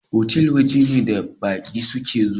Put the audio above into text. Otal waje ne da baƙi su ke zuwa